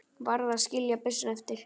Varð að skilja byssuna eftir.